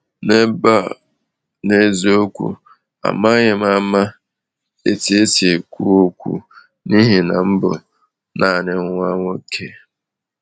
N'ebe a, n’eziokwu amaghị m ama etu esi ekwu okwu n’ihi na m bụ naanị nwa nwoke.